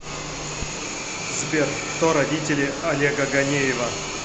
сбер кто родители олега ганеева